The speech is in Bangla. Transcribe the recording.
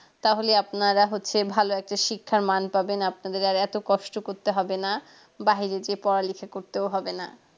তাহলে আপনারা হচ্ছে ভালো একটা শিক্ষার মান পাবেন আপনাদের আর এত কষ্ট করতে হবে না বাহিরে যেয়ে পড়ালেখা করতেও হবে না